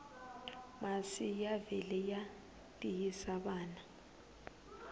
masi ya vele ya tiyisa vana